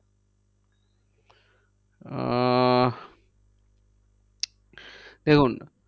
আহ দেখুন।